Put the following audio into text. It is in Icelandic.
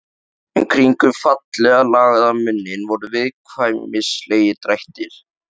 En kringum fallega lagaðan munninn voru viðkvæmnislegir drættir.